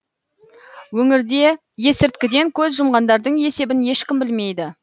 өңірде есірткіден көз жұмғандардың есебін ешкім білмейді